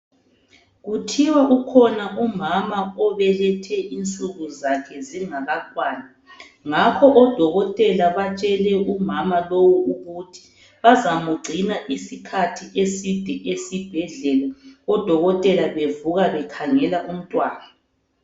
Kuthiwa kukhona umama obelethe insuku zakhe zingakakwani ngakho odokotela batshele umama lowu ukuthi bazamugcina isikhathi eside esibhedlela odokotela bevuka bekhangela umntwana.